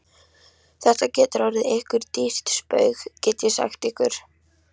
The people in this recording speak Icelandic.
Þetta getur orðið ykkur dýrt spaug, get ég sagt ykkur!